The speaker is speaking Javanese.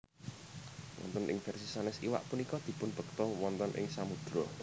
Wonten ing versi sanes iwak punika dipunbekta wonten ing samudera